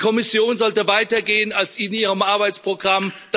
Und die Kommission sollte weiter gehen als in ihrem Arbeitsprogramm.